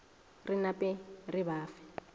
re nape re ba fe